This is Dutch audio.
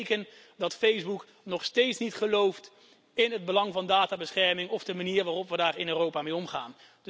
Andermaal een teken dat Facebook nog steeds niet gelooft in het belang van databescherming of de manier waarop we in Europa daarmee omgaan.